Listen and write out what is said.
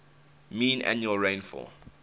mean annual rainfall